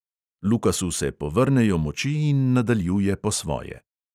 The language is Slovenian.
Lukasu se povrnejo moči in nadaljuje po svoje.